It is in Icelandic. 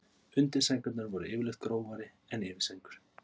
Undirsængurnar voru yfirleitt grófari en yfirsængur.